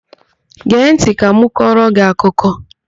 Gee ntị ka m kọrọ gị akụkọ!